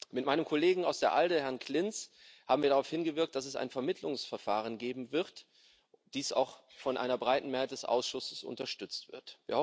Mit meinem Kollegen aus der ALDE Fraktion, Herrn Klinz, haben wir darauf hingewirkt, dass es ein Vermittlungsverfahren geben wird, das auch von einer breiten Mehrheit des Ausschusses unterstützt wird.